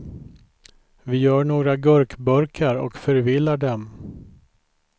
Vi gör några gurkburkar och förvillar dem.